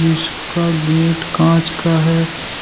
इसका गेट कांच का है।